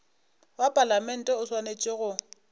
wa palamente o swanetše go